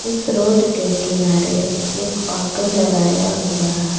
इस रोड के किनारे एक ऑटो लगाया हुआ है।